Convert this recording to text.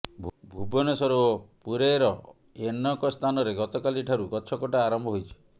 ଭୁବନେଶ୍ବର ଓ ପୁରୀେର ଅେନକ ସ୍ଥାନରେ ଗତକାଲି ଠାରୁ ଗଛ କଟା ଆରମ୍ଭ ହୋଇଛି